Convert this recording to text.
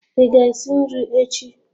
Ị ga-esi nri echi?